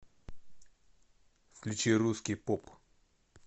включи русский поп